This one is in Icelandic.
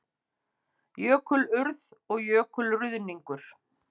Jökulurð og jökulruðningur